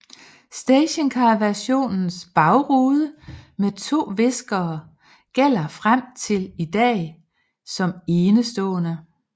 Stationcarversionens bagrude med to viskere gælder frem til i dag som enestående